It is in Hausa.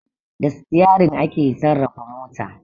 Da Sitiyarin ake sarrafa mota